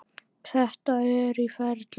Þetta er í ferli.